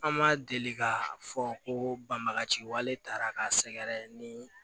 An ma deli ka fɔ ko banbagaci wale taara ka sɛgɛrɛ ni